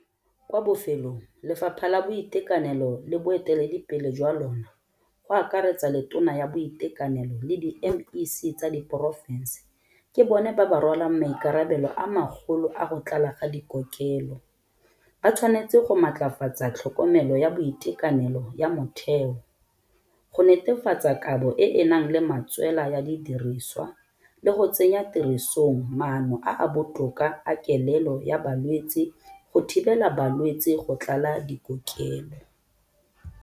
Kwa bofelong lefapha la boitekanelo le boeteledipele jwa lona, go akaretsa le tona ya boitekanelo le di-M_E_C tsa diporofense ke bone ba ba rwalang maikarabelo a magolo a go tlala ga dikokelo, ba tshwanetse go maatlafatsa tlhokomelo ya boitekanelo ya motheo go netefatsa kabo e e nang le matswela ya didiriswa le go tsenya tirisong maano a a botoka a kelelo ya balwetse go thibela balwetse go tlala dikokelo.